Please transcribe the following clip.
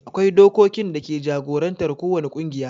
akwai dokokin dake jagorantar ko wani ƙungiya